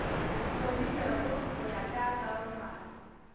hlomilwego go ya ka karolwana